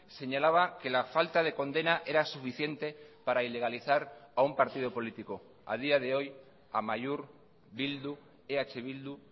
señalaba que la falta de condena era suficiente para ilegalizar a un partido político a día de hoy amaiur bildu eh bildu